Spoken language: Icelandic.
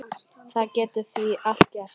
Það getur því allt gerst.